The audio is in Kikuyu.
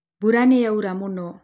Mbura nĩyaura mũno